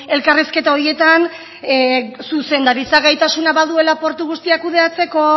elkarrizketa horietan zuzendaritza gaitasuna baduela portu guztiak kudeatzeko